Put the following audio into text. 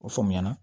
O faamuya na